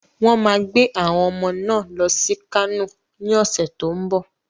Wọ́n máa gbé àwọn ọmọ náà lọ sí Kano ní ọ̀sẹ̀ tó ń bọ̀.